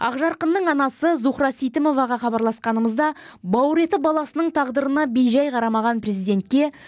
ақжарқынның анасы зухра сейтімоваға хабарласқанымызда бауыр еті баласының тағдырына бейжай қарамаған президентке